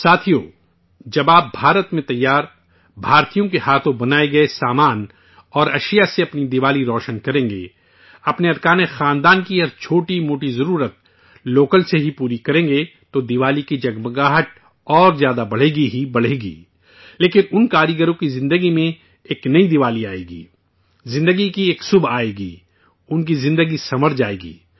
ساتھیو، جب آپ بھارت میں بنے، ہندوستانیوں کے ذریعے بنائی گئی مصنوعات سے اپنی دیوالی روشن کریں گے، اپنے اہل خانہ کی ہر چھوٹی موٹی ضرورت لوکل سے پوری کریں گے تو دیوالی کی جگمگاہٹ اور زیادہ بڑھے گی ہی بڑھے گی، لیکن، اُن کاریگروں کی زندگی میں ایک نئی دیوالی آئے گی، زندگی کی ایک صبح آئے گی، ان کی زندگی شاندار بنے گی